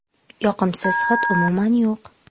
Yoqimsiz hid umuman yo‘q.